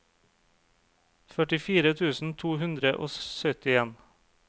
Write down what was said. førtifire tusen to hundre og syttien